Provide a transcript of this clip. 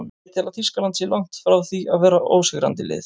Ég tel að Þýskaland sé langt frá því að vera ósigrandi lið.